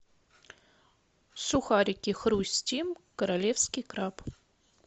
сухарики хрустим королевский краб